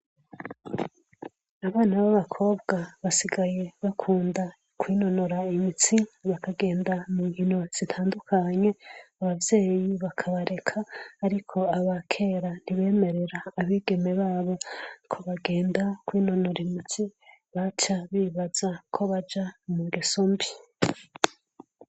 Abana b'abakobwa basigaye bakunda kwinonora imitsi bakagenda mu nkino zitandukanye, ababveyi bakabareka. Ariko aba kera ntibemerera abigeme babo ko bagenda kwinonora imitsi, baca bibaza ko baja mu ngeso mbi.